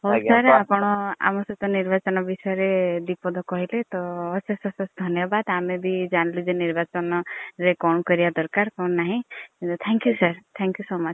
ହଉ sir ଆପଣ ଆମ ସହ ନିର୍ବାଚନ ବିସୟରେ ଦିପଦ କହିଲେ ତ ଅଶେଶ୍ ଅସେଶ୍ ଧନ୍ୟବାଦ୍ ତ ଆମେ ବି ଜାନିଲୁ ଯେ ନିର୍ବାଚନ ରେ କଣ କରିବା ଦରକାର୍। କଣ ନାହିଁ। thank you sir thank you so much